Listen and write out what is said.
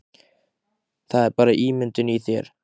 Það er bara ímyndun í þér!